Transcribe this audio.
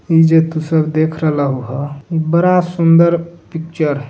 जे तू सब देख रहल ह बड़ा सुंदर पिक्चर --